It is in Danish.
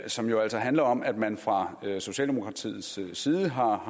som jo altså handler om at man fra socialdemokratiets side har